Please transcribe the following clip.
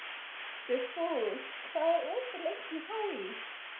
Dugfús, hvað er opið lengi í HÍ?